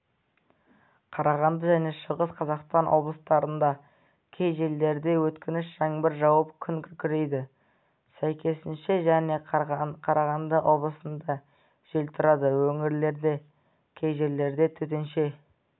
қарағанды және шығыс қазақстан облыстарында кей жерлерде өткінші жаңбыр жауып күн күркірейді сәйкесінше және қарағанды облысында жел тұрады өңірлерде кей жерлерде төтенше